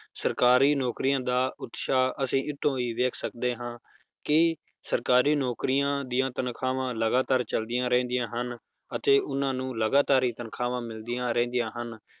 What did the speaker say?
ਸਰਕਾਰੀ ਨੌਕਰੀਆਂ ਦਾ ਉਤਸ਼ਾਹ ਅਸੀਂ ਇਸ ਤੋਂ ਵੀ ਵੇਖ ਸਕਦੇ ਹਾਂ ਕਿ ਸਰਕਾਰੀ ਨੌਕਰੀਆਂ ਦੀਆਂ ਤਨਖਾਹਾਂ ਲਗਾਤਾਰ ਚੱਲਦੀਆਂ ਰਹਿੰਦੀਆਂ ਹਨ ਅਤੇ ਉਹਨਾਂ ਨੂੰ ਲਗਾਤਾਰ ਹੀ ਤਨਖਾਹਾਂ ਮਿਲਦੀਆਂ ਰਹਿੰਦੀਆਂ ਹਨ